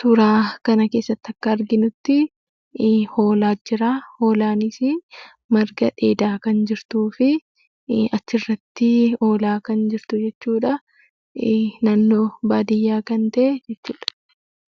suuraa kana keessatti akka arginuttii hoolaatu jiraa, hoolaanisii marga dheedaa kan jirtuufi achirrattii oolaa kan jirtu jechuudhaa. Naannoo baadiyyaa kan ta'e jechuudha.